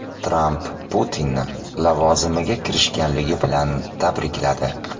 Tramp Putinni lavozimiga kirishganligi bilan tabrikladi.